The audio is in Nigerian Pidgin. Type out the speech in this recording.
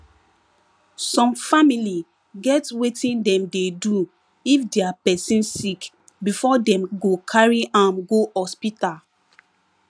some family get wetin dem dey do if dia pesin sick before dem go carry am go hospital